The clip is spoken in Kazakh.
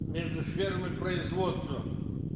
между сферами производства